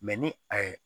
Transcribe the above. ni a ye